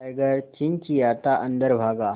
tiger चिंचिंयाता अंदर भागा